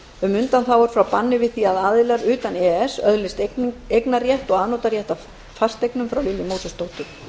um undanþágur frá banni við því að aðilar utan e e s öðlist eignarrétt og afnotarétt af fasteignum frá lilju mósesdóttur